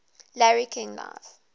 larry king live